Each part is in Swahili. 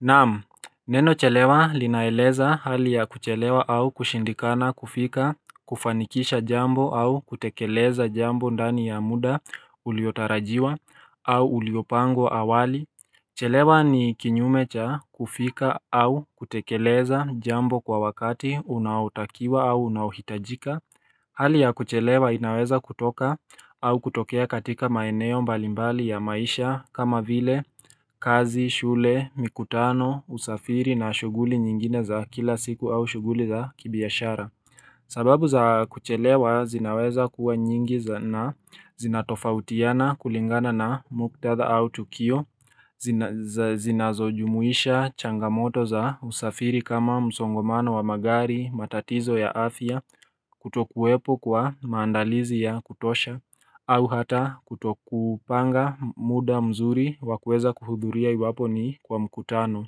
Naam, neno chelewa linaeleza hali ya kuchelewa au kushindikana kufika, kufanikisha jambo au kutekeleza jambo ndani ya muda uliotarajiwa au uliopangwa awali Chelewa ni kinyume cha kufika au kutekeleza jambo kwa wakati unaotakiwa au unaohitajika Hali ya kuchelewa inaweza kutoka au kutokea katika maeneo mbalimbali ya maisha kama vile kazi, shule, mikutano, usafiri na shughuli nyingine za kila siku au shughuli za kibiashara sababu za kuchelewa zinaweza kuwa nyingi za na zinatofautiana kulingana na muktadha au tukio Zinazojumuisha changamoto za usafiri kama msongomano wa magari matatizo ya afya Kutokuwepo kwa maandalizi ya kutosha au hata kutokupanga muda mzuri wa kuweza kuhudhuria iwapo ni kwa mkutano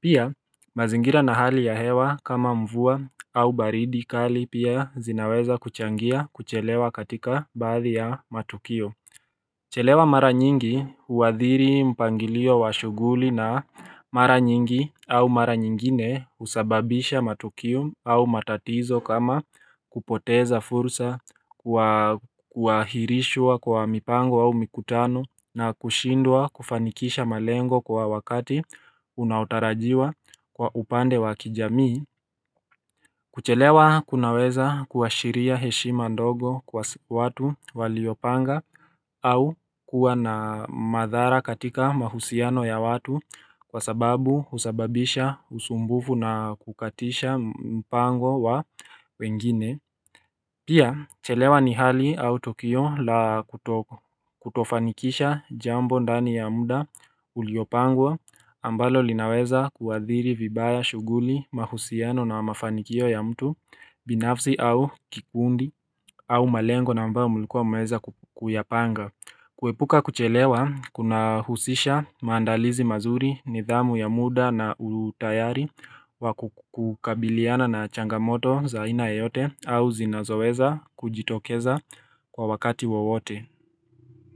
Pia mazingira na hali ya hewa kama mvua au baridi kali pia zinaweza kuchangia kuchelewa katika baadhi ya matukio Chelewa mara nyingi huwadhiri mpangilio wa shughuli na mara nyingi au mara nyingine husababisha matukio au matatizo kama kupoteza fursa kuahirishwa kwa mipango au mikutano na kushindwa kufanikisha malengo kwa wakati unaotarajiwa kwa upande wa kijamii kuchelewa kunaweza kuashiria heshima ndogo kwa watu waliopanga au kuwa na madhara katika mahusiano ya watu kwa sababu husababisha usumbufu na kukatisha mpango wa wengine. Pia, chelewa ni hali au tokio la kutofanikisha jambo ndani ya muda uliopangwa ambalo linaweza kuathiri, vibaya, shughuli, mahusiano na mafanikio ya mtu, binafsi au kikundi au malengo na ambao mulikuwa mumeweza kuyapanga. Kuepuka kuchelewa kuna husisha maandalizi mazuri nidhamu ya muda na utayari wakukabiliana na changamoto za aina yoyote au zinazoweza kujitokeza kwa wakati wowote.